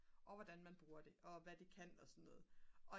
og hvordan man bruger det og hvad det kan og sådan noget og